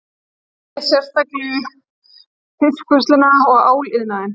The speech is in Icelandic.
Hann nefndi sérstaklega fiskvinnsluna og áliðnaðinn